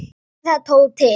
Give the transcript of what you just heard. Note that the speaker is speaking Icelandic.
Gerðu það, Tóti!